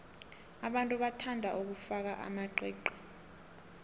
abantu bathanda ukufaka amaqiqi